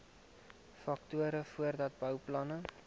faktore voordat bouplanne